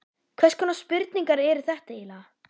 Hvers konar spurningar eru þetta eiginlega?